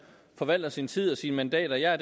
forvalter sin tid og sine mandater jeg er